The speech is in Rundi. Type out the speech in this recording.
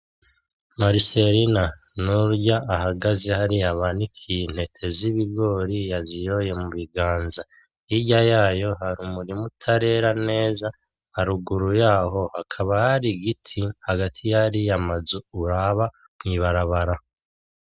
Maricelina nurya ahagaze hariya banikiriye intete z'ibigori, yaziyoye mu biganza. Hirya yaho hari umurima utarera neza, haruguru yaho hakaba hari igiti hagati yariya mazu uraba mw'ibarabara.